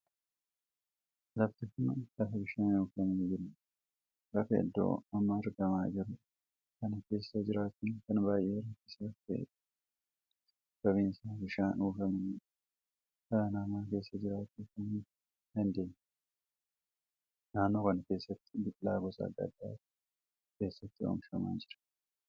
Lafti kun lafa bishaanii uwwifamee jirudha. lafa iddoo amma argamaa jiru kana keessa jiraachuun kan baay'ee rakkisaaf taheedha. sabaabni isaa bishaanii uwwifamee waan jiruu dhala namaa keessa jiraachuu kan hin dandeenya. naannoo kana keessatti biqilaa gosa addaa addaatu keessatti oomishamaa jira.